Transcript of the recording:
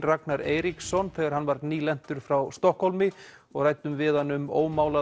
Ragnar Eiríksson þegar hann var frá Stokkhólmi og ræddum við hann um